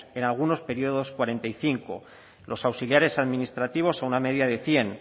en algunos períodos cuarenta y cinco los auxiliares administrativos a una media de cien